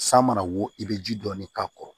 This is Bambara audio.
San mana wo i bɛ ji dɔɔni k'a kɔrɔ